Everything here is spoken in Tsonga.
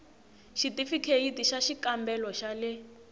xithifikheyiti xa xikambelo xa le